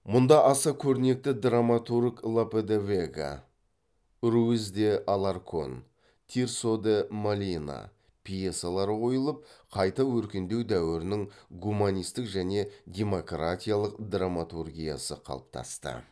мұнда аса көрнекті драматург лопе де вега руис де аларкон тирсо де молина пьесалары қойылып қайта өркендеу дәуірінің гуманистік және демократиялық драматургиясы қалыптасты